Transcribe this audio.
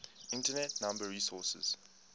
internet number resources